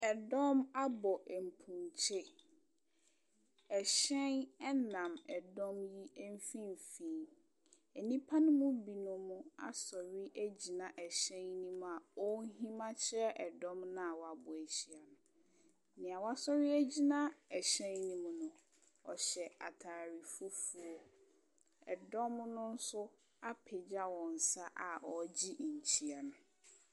Ɛdɔm abɔ mpunkye. Ɛhyɛn na ɛdɔm yi mfimfini. Nnipa no mu binom asɔre agyina ɛhyɛn no mu a wɔrehim akyerɛ ɛdɔm no a wɔabɔ ahyia no. Deɛ wasɔre agyina ɛhyɛn no mu no, ɔhyɛ atade fufuo. Ɛdɔm no nso apagya wɔn nsa a wɔregye nkyea no.